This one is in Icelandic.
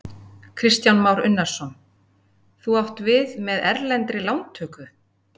Kristján Már Unnarsson: Þú átt við með erlendri lántöku?